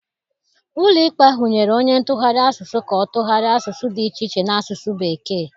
Ụlọikpe ahụ nyere onye ntụgharị asụsụ ka ọ tụgharịa asụsụ dị iche iche n'asụsụ Bekee.